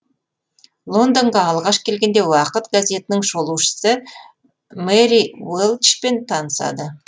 лондонға алғаш келгенде уақыт газетінің шолушысы мэри уелчпен танысады